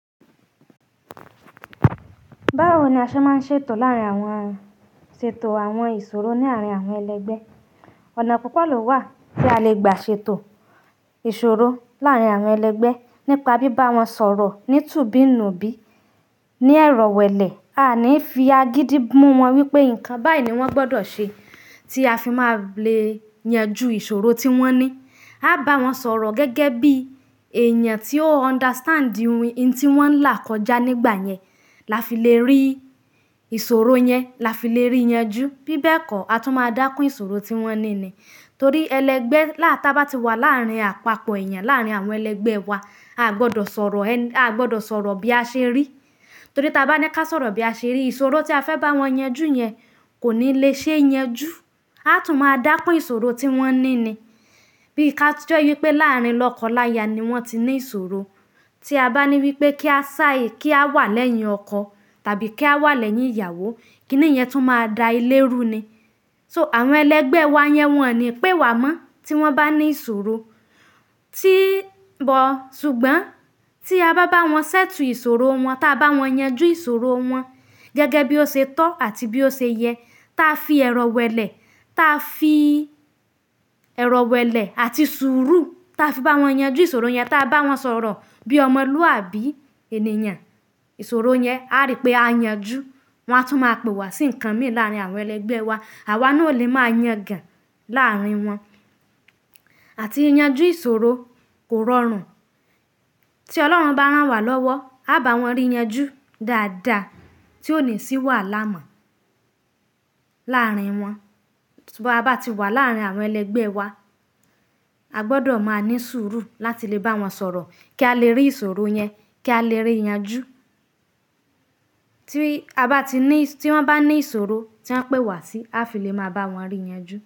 Báwo ni a ṣe máa ń ṣètò láàárín àwọn ṣètò àwọn ìṣòro ní àárín àwọn ẹlẹgbẹ́. Ọ̀nà púpọ̀ ló wà tí a lè gbà ṣètò ìṣòro láàárín àwọn ẹlẹgbẹ́ nípa bíbá wọn sọ̀rọ̀ ní tùbí-nnùbí, ní ẹrọ̀wẹ̀lẹ̀, a ní fi agídí mú wọn wípé ǹkan báyìí ní wọ́n gbọdọ̀ ṣe tí a fi máa le yanjú ìṣòro tí wọ́n ní. A bá wọn sọ̀rọ̀ gẹ́gẹ́ bí èèyàn tí ó understand ohun tí wọ́n ń là kọjá nígbà yẹn la fi lè rí ìṣòro yẹn, la fi lè ríi yanjú. Bí bẹ́ẹ̀ kọ́, a tún máa dákún ìsòro tí wọ́n ní ni. Torí ẹlẹgbẹ́ lá ta ba tí wà láàárín àpapọ̀ èèyàn, láàárín àwọn ẹlẹgbẹ́ wa, à gbọdọ̀ sọ̀rọ̀, à gbọdọ̀ sọ̀rọ̀ bí a ṣe rí. Torí ta bá ní kí a sọ̀rọ̀ bí a ṣe rí, ìṣòro tí a fẹ́ bá wọn yanjú yẹn kò ní lè ṣe é yanjú. A tún máa dákún ìṣòro tí wọ́n ní ni. Bí ká tí ó jẹ́ wípé láàrín lọ́kọ-láya ni wọ́n ti ní ìṣòro, tí a bá ní wípé kí a sá, kí a wà lẹ́yìn ọkọ tàbí kí a wà lẹ́yìn ìyàwó, kí ni ìyẹn tún máa da ilé rú ni? So àwọn ẹlẹgbẹ́ wa yẹn wọ́n ni pé wàá mọ́ tí wọ́n bá ní ìṣòro. Tí bọ̀, ṣùgbọ́n tí a bá bá wọn ṣètù ìsòro wọn, táa bá wọn yanjú ìsòro wọn gẹ́gẹ́ bí ó se tọ́ àti bí ó se yẹ, táa fi ẹrọ̀wẹ̀lẹ̀, táa fi ẹrọ̀wẹ̀lẹ̀ àti sùúrù, táa fi bá wọn yanjú ìsòro yẹn, táa bá wọn sọ̀rọ̀ bí ọmọlúàbí ènìyàn, ìsòro yẹn a rí pé á yanjú. Wọn á tún máa pe wá sí ǹkan mì láàárín àwọn ẹlẹgbẹ́ wa. Àwa náà ò lè máa yàn gan láàárín wọn. Àti yanjú ìṣòro kò rọrùn. Tí Ọlọ́run bá rán wa lọ́wọ́, a bá wọn rí yanjú dáadáa tí ó ní sí wàhálà mọ̀ láàárín wọn. Bí a bá ti wà láàárín àwọn ẹlẹgbẹ́ wa, a gbọdọ̀ máa ní sùúrù láti lè bá wọn sọ̀rọ̀ kí a lè rí ìsòro yẹn, kí a lè ríi yanjú. Tí a bá ti ní, tí wọ́n bá ní ìsòro tí wọ́n ń pe wá sí, a fi lè máa bá wọn rí yanjú.